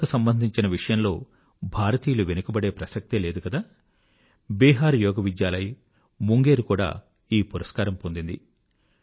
యోగాకు సంబంధించిన విషయంలో భారతీయులు వెనుకబడే ప్రసక్తే లేదు కదా బీహార్ యోగ్ విద్యాలయ్ ముంగేర్ కూడా ఈ పురస్కారం పొందింది